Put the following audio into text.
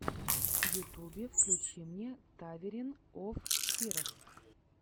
в ютубе включи мне таверн оф хирос